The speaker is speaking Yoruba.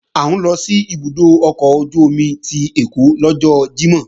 À ń lọ sí ibùdó ọkọ̀ ojú-omi ti Ẹ̀kọ́ lọ́jọ́ Jímọ̀